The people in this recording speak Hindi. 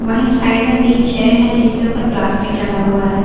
वही साइड में तीन चेयर हैं जिनके ऊपर प्लास्टिक लगा हुआ है।